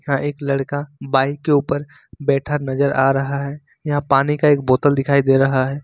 एक लड़का बाइक के ऊपर बैठा नजर आ रहा है यहां पानी का एक बोतल दिखाई दे रहा है।